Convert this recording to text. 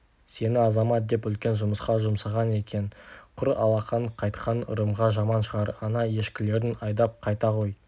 сені азамат деп үлкен жұмысқа жұмсаған екен құр алақан қайтқаның ырымға жаман шығар ана ешкілерін айдап қайта ғой